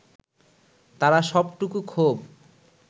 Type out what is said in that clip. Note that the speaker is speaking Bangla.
তারা সবটুকু ক্ষোভ